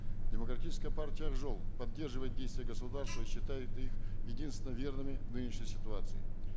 демократическая партия ак жол поддерживает действия государства и считает их единственно верными в нынешней ситуации